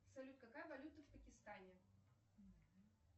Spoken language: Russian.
салют какая валюта в пакистане